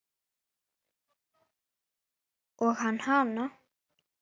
Og hann hana.